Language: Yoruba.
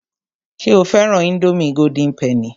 Ṣé o fẹ́ran ińdómì golden penny?